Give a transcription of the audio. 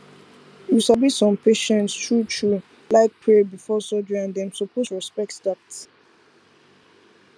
you sabi some patients truetrue like pray before surgery and dem suppose respect dat